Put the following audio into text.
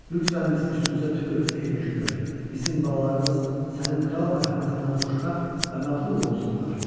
Lütfən bizim üstümüzə tüpür, ey hökümdar, bizim balalarımız sənin kral mərhəmətindən xoşbəxt və məğrur olsunlar.